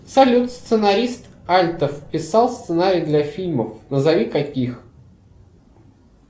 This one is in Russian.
салют сценарист альтов писал сценарии для фильмов назови каких